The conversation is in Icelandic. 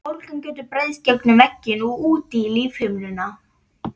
Bólgan getur breiðst gegnum vegginn og út í lífhimnuna.